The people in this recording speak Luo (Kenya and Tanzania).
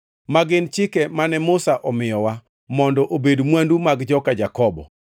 ma gin chike mane Musa omiyowa, mondo obed mwandu mag joka Jakobo.